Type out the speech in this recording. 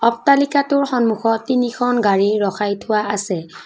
অট্টালিকাটোৰ সন্মুখত তিনিখন গাড়ী ৰখাই থোৱা আছে।